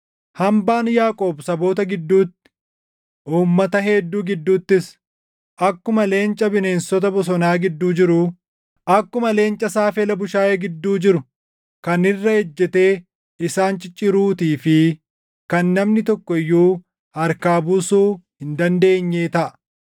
Hambaan Yaaqoob saboota gidduutti, uummata hedduu gidduuttis, akkuma leenca bineensota bosonaa gidduu jiruu, akkuma leenca saafela bushaayee gidduu jiru kan irra ejjetee isaan cicciruutii fi kan namni tokko iyyuu harkaa buusuu hin dandeenyee taʼa.